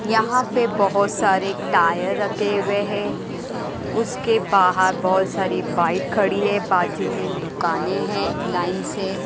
यहां पे बहोत सारे टायर रखे हुए हैं उसके बाहर बहोत सारी बाइक खड़ी है बाजू में दुकानें हैं लाइन से--